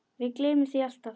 Við gleymum því alltaf